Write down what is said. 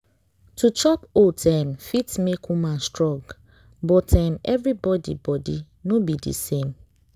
to chop oats um fit make woman strong but um everybody body no be the same